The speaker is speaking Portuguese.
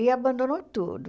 E abandonou tudo.